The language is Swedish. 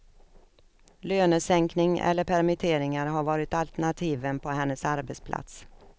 Lönesänkning eller permitteringar har varit alternativen på hennes arbetsplats.